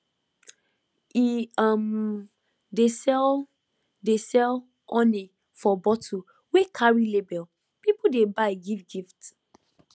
e um dey sell dey sell honey for bottle wey carry label people dey buy give gift